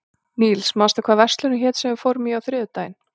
Níls, manstu hvað verslunin hét sem við fórum í á þriðjudaginn?